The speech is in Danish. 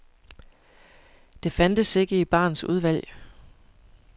Det fandtes ikke i barens udvalg.